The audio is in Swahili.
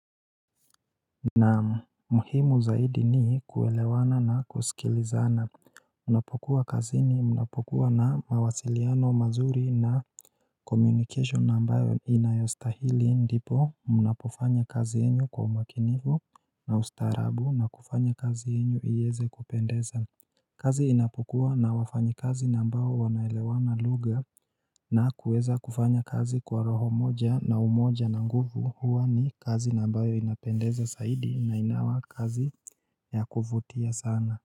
Naam muhimu zaidi ni kuelewana na kusikilizana Unapokuwa kazini una mawasiliano mazuri na communication ambayo inayostahili ndipo Unapofanya kazi kwa umakinivu na ustarabu na kufanya kazi enyo inaeza kupendeza kazi inapokuwa na wafanyikazi ambayo wanaelewana lugha na kuweza kufanya kazi kwa roho moja na umoja na nguvu huwa ni kazi ambayo inapendeza saidi na inakuwa kazi ya kufutia sana.